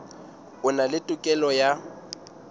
a na le tokelo ya